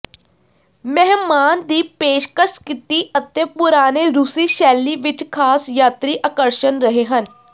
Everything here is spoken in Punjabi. ਮਹਿਮਾਨ ਦੀ ਪੇਸ਼ਕਸ਼ ਕੀਤੀ ਅਤੇ ਪੁਰਾਣੇ ਰੂਸੀ ਸ਼ੈਲੀ ਵਿੱਚ ਖਾਸ ਯਾਤਰੀ ਆਕਰਸ਼ਣ ਰਹੇ ਹਨ